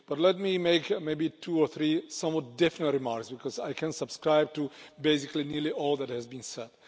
But let me make maybe two or three somewhat different remarks, because I can subscribe to basically nearly all that has been said.